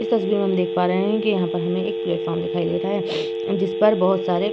इस तस्वीर में हम देख पा रहे हैं की यहाँ पर हमे एक प्लेटफार्म दिखाई दे रहा है जिसपर बहौत सारे --